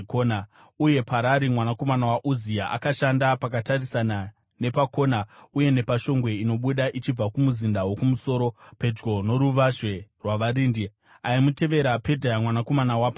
uye Parari mwanakomana waUzia akashanda pakatarisana nepakona uye napashongwe inobuda ichibva kumuzinda wokumusoro pedyo noruvazhe rwavarindi. Aimutevera, Pedhaya mwanakomana waParoshi